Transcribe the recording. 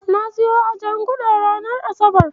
Na siyo a Janguza ranar asabar.